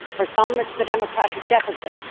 For some, it is the democratic deficit